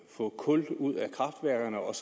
få kul ud af kraftværkerne og